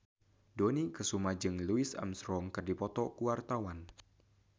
Dony Kesuma jeung Louis Armstrong keur dipoto ku wartawan